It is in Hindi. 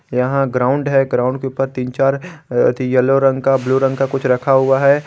यहां ग्राउंड है ग्राउंड के ऊपर तीन चार अथि येलो रंग का ब्लू रंग का कुछ रखा हुआ है।